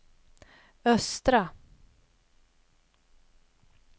östra